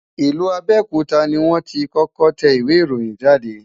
Ìlú Abẹ́òkúta ni wọ́n ti kọ́kọ́ tẹ ìwé ìròyìn jáde.